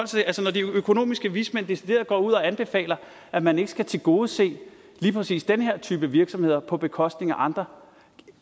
til altså når de økonomiske vismænd decideret går ud og anbefaler at man ikke skal tilgodese lige præcis den her type virksomheder på bekostning af andre